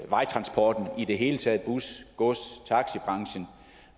vejtransporten i det hele taget bus gods